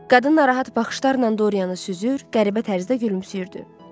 Qadın narahat baxışlarla Dorianı süzür, qəribə tərzdə gülümsəyirdi.